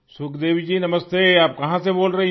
सुखदेवी जी नमस्ते आप कहाँ से बोल रहीं हैं